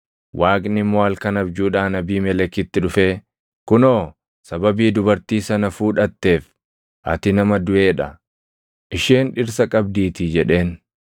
Waaqni immoo halkan abjuudhaan Abiimelekitti dhufee, “Kunoo sababii dubartii sana fuudhatteef ati nama duʼee dha; isheen dhirsa qabdiitii” jedheen.